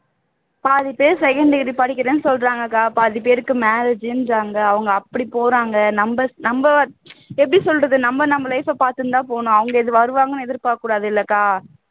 பாதிப்பேர் second degree படிக்கிறேன்னு சொல்றாங்கக்கா பாதிப்பேருக்கு marriage ன்றாங்க அவங்க அப்படி போறாங்க நம் நம்ப எப்படி சொல்றது நம்ம நம்ம life ஐ பாத்துட்டுதான் போகணும் அவங்க இது வருவாங்கன்னு எதிர்பாக்ககூடாது இல்லக்கா